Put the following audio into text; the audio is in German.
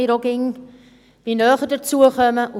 Auch wir werden immer älter.